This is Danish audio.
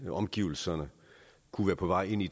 omgivelserne kunne være på vej ind i